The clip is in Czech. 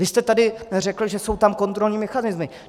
Vy jste tady řekl, že jsou tam kontrolní mechanismy.